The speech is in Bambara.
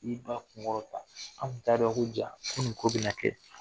I y'i ba kun kɔrɔtan. Anw kun t'a dɔn ko ja ko nin ko be na kɛ.